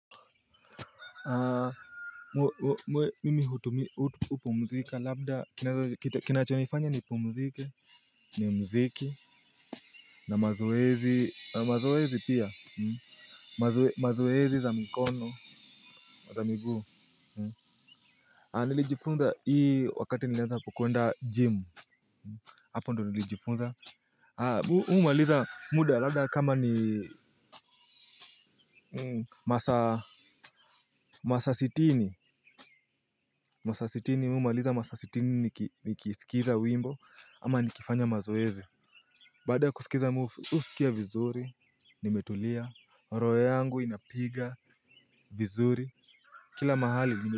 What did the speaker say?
Mimi hupumzika labda kinacho nifanya nipumzike. Ni mziki. Na mazoezi mazoezi pia mazoezi za mikono za miguu nilijifunza hii wakati nilianza kukwenda gym. Hapo ndo nili jifunza. Humaliza muda labda kama ni masaa masaa sitini masaa sitini mimi humaliza masaa sitini nikisikiza wimbo ama nikifanya mazoezi. Baada ya kusikiza mi husikia vizuri, nimetulia, roho yangu inapiga vizuri, kila mahali nimetulia.